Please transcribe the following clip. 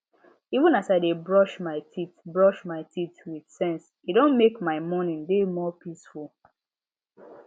even as i dey brush my teeth brush my teeth with sense e don mek my morning dey more peaceful